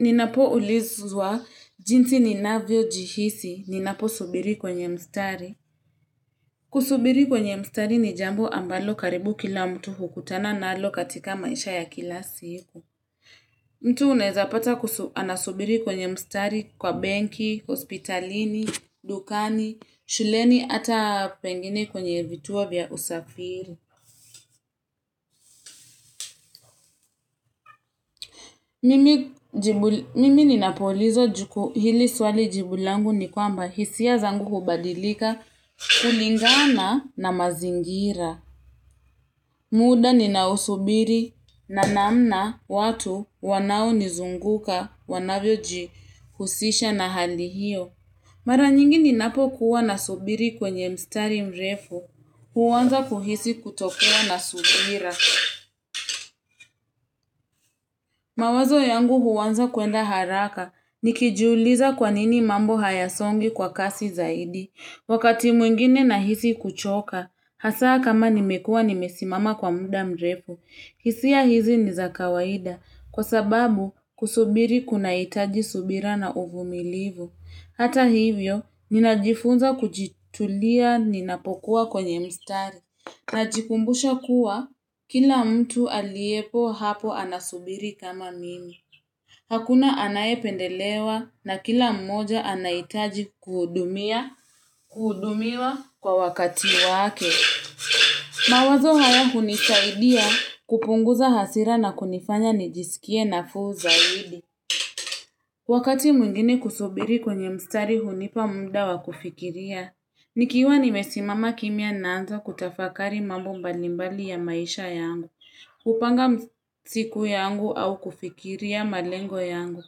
Ninapoulizwa, jinsi ninavyojihisi, ninaposubiri kwenye mstari. Kusubiri kwenye mstari ni jambo ambalo karibu kila mtu hukutana nalo katika maisha ya kila siku. Mtu unaeza pata anasubiri kwenye mstari kwa benki, hospitalini, dukani, shuleni hata pengine kwenye vituo vya usafiri. Mimi ninapoulizwa juku hili swali jibu langu ni kwamba hisia zangu hubadilika kulingana na mazingira. Muda ninaosubiri na namna watu wanaonizunguka wanavyojihusisha na hali hiyo. Mara nyingi ninapokuwa nasubiri kwenye mstari mrefu huanza kuhisi kutokuaw na subira. Mawazo yangu huanza kuenda haraka, nikijiuliza kwa nini mambo hayasongi kwa kasi zaidi. Wakati mwingine nahisi kuchoka, hasa kama nimekuwa nimesimama kwa muda mrefu. Hisia hizi ni za kawaida, kwa sababu kusubiri kunahitaji subira na uvumilivu. Hata hivyo, ninajifunza kujitulia ninapokuwa kwenye mstari. Najikumbusha kuwa, kila mtu aliyepo hapo anasubiri kama mimi. Hakuna anayependelewa na kila mmoja anahitaji kuhudumia kuhudumiwa kwa wakati wake. Mawazo haya hunisaidia kupunguza hasira na kunifanya nijisikie nafuu zaidi. Wakati mwingine kusubiri kwenye mstari hunipa muda wa kufikiria. Nikiwa nimesimama kimya naanza kutafakari mambo mbalimbali ya maisha yangu, hupanga siku yangu au kufikiria malengo yangu,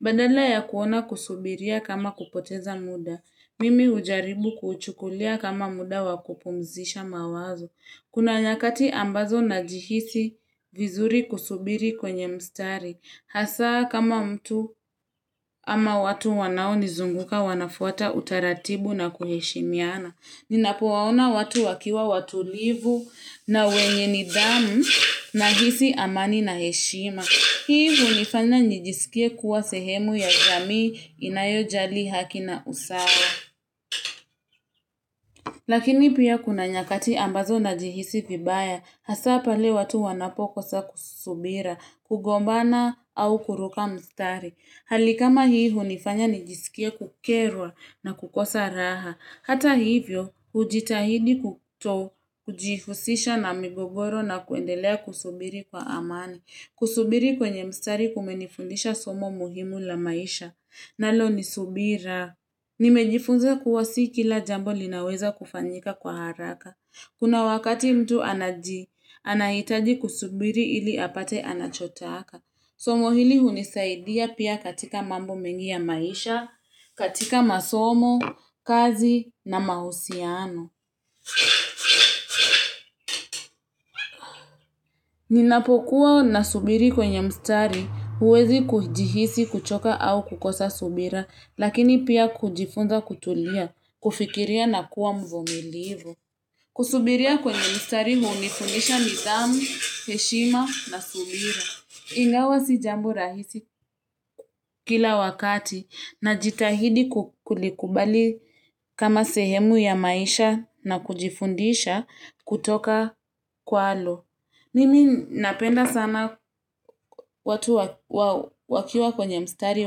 badala ya kuona kusubiria kama kupoteza muda, mimi hujaribu kuuchukulia kama muda wa kupumzisha mawazo. Kuna nyakati ambazo najihisi vizuri kusubiri kwenye mstari. Hasa kama mtu ama watu wanaonizunguka wanafuata utaratibu na kuheshimiana. Ninapowaona watu wakiwa watulivu na wenye nidhamu nahisi amani na heshima. Hii hunifanya nijisikie kuwa sehemu ya jamii inayojali haki na usawa. Lakini pia kuna nyakati ambazo najihisi vibaya. Hasa pale watu wanapokosa subira, kugombana au kuruka mstari. Hali kama hii hunifanya nijisikie kukerwa na kukosa raha. Hata hivyo, hujitahidi kuto kujihusisha na migogoro na kuendelea kusubiri kwa amani. Kusubiri kwenye mstari kumenifundisha somo muhimu la maisha. Nalo ni subira. Nimejifunza kuwa si kila jambo linaweza kufanyika kwa haraka. Kuna wakati mtu anaji, anahitaji kusubiri ili apate anachotaka. Somo hili hunisaidia pia katika mambo mengi ya maisha, katika masomo, kazi na mahusiano. Ninapokuwa nasubiri kwenye mstari huwezi kujihisi kuchoka au kukosa subira. Lakini pia kujifunza kutulia, kufikiria na kuwa mvumilivu. Kusubiria kwenye mstari hunifundisha nidhamu, heshima na subira. Ingawa si jambo rahisi kila wakati najitahidi kulikubali kama sehemu ya maisha na kujifundisha kutoka kwalo Mimi napenda sana watu wakiwa kwenye mstari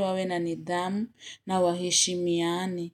wawe na nidhamu na waheshimiane.